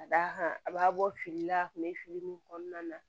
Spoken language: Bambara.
Ka d'a kan a b'a bɔ fili la a tun bɛ fili min kɔnɔna na